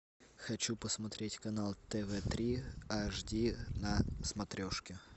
хочу посмотреть канал тв три аш ди на смотрешке